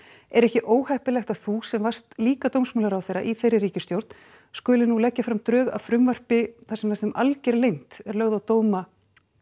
er ekki óheppilegt að þú sem varst líka dómsmálaráðherra í þeirri ríkisstjórn skulir nú leggja fram drög að frumvarpi þar sem næstum alger leynd er lögð á dóma